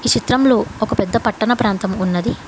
చిత్రంలో ఒక పెద్ద పట్టణ ప్రాంతం ఉన్నది.